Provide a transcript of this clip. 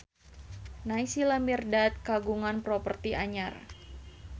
Naysila Mirdad kagungan properti anyar